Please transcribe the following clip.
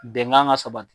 Bɛnkan ka sabati